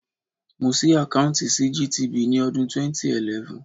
Mo ṣí àkáùntì sí GTB ní ọdún 2011.